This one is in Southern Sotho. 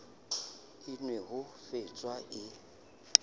a nwe ho faswa e